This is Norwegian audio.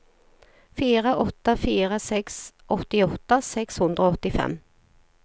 fire åtte fire seks åttiåtte seks hundre og åttifem